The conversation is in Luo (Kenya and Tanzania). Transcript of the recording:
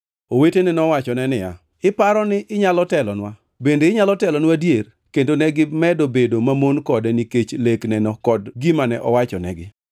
Owetene nowachone niya, “Iparo ni inyalo telonwa? Bende inyalo telonwa adier?” Kendo negimedo bedo mamon kode nikech lekneno kod gimane owachonegi.